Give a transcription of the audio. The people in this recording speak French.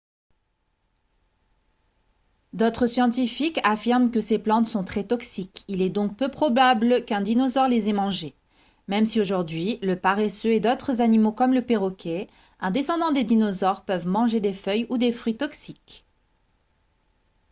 d’autres scientifiques affirment que ces plantes sont très toxiques il est donc peu probable qu’un dinosaure les ait mangées même si aujourd’hui le paresseux et d’autres animaux comme le perroquet un descendant des dinosaures peuvent manger des feuilles ou des fruits toxiques